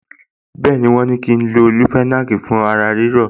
Bẹ́ẹ̀ni, wọ́n ní kí n lo leofenac fún ara ríro